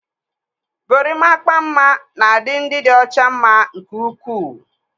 Gorimakpa mma na-adị ndị dị ọcha mma nke ukwuu.